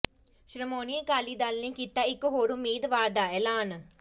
ਸ਼੍ਰੋਮਣੀ ਅਕਾਲੀ ਦਲ ਨੇ ਕੀਤਾ ਇੱਕ ਹੋਰ ਉਮੀਦਵਾਰ ਦਾ ਐਲਾਨ